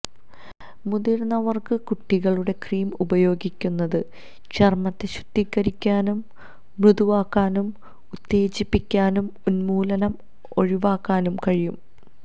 മുതിർന്നവർക്ക് കുട്ടികളുടെ ക്രീം ഉപയോഗിക്കുന്നത് ചർമ്മത്തെ ശുദ്ധീകരിക്കാനും മൃദുവാക്കാനും ഉത്തേജിപ്പിക്കാനും ഉന്മൂലനം ഒഴിവാക്കാനും കഴിയും